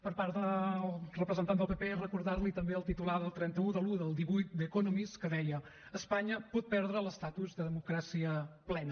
per part del representant del pp recordar li també el titular del trenta un de l’i del divuit de the economist que deia espanya pot perdre l’estatus de democràcia plena